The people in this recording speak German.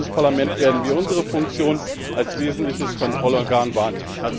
Als Europäisches Parlament werden wir unsere Funktion als wesentliches Kontrollorgan wahrnehmen.